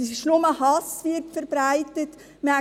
Es ist nur Hass, der verbreitet wird.